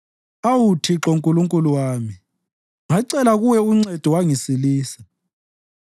Awu Thixo, Nkulunkulu wami, ngacela Kuwe uncedo wangisilisa.